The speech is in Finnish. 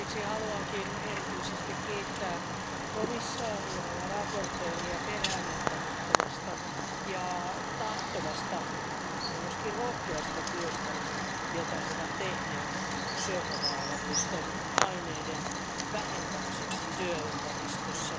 Haluankin erityisesti kiittää komissaaria ja esittelijää peräänantamattomasta, tahtovasta ja myös rohkeasta työstä, jota he ovat tehneet syöpävaarallisten aineiden vähentämiseksi työympäristössä.